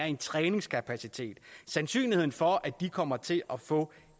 en træningskapacitet sandsynligheden for at de kommer til at få